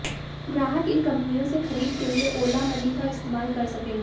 ग्राहक इन कंपनियों से खरीद के लिए ओला मनी का इस्तेमाल कर सकेंगे